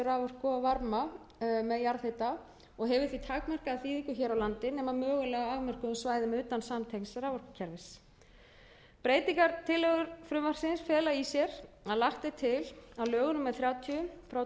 raforku og varma hita með jarðhita og hefur því takmarkaða þýðingu hér á landi nema mögulega á afmörkuðum svæðum utan samtengds raforkukerfis breytingartillögur frumvarpsins fela í sér að lagt er til að lögum númer þrjátíu tvö þúsund og átta verði breytt þannig